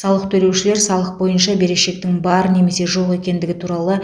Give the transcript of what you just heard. салық төлеушілер салық бойынша берешектің бар немесе жоқ екендігі туралы